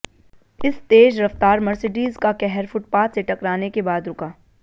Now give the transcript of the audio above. इस तेज रफ्तार मर्सिडीज का कहर फुटपाथ से टकराने के बाद रुका